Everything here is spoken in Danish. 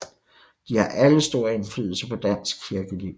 De har alle stor indflydelse på dansk kirkeliv